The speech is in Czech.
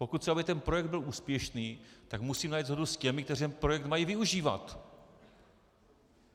Pokud chci, aby ten projekt byl úspěšný, tak musím najít shodu s těmi, kteří ten projekt mají využívat.